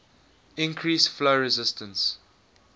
increase flow resistance